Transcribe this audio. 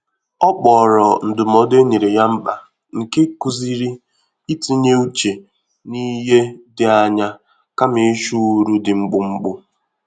Ọ kpọrọ ndụmọdụ e nyere ya mkpa nke kụziri i tinye uche n'ihe dị anya, kama ịchụ uru dị mkpụmkpụ.